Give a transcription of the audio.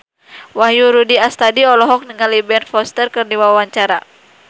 Wahyu Rudi Astadi olohok ningali Ben Foster keur diwawancara